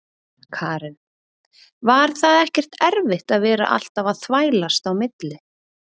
Karen: Var það ekkert erfitt að vera alltaf að þvælast á milli?